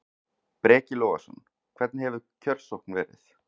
Breki Logason: Hvernig hefur kjörsókn verið?